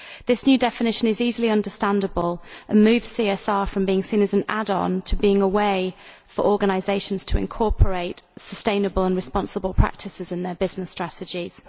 This new definition is easily understandable and moves CSR from being seen as an add on to being a way for organisations to incorporate sustainable and responsible practices into their business strategies.